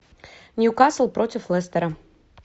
ньюкасл против лестера